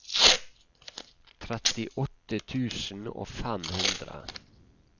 trettiåtte tusen og fem hundre